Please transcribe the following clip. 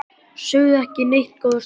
Sögðu ekki neitt góða stund.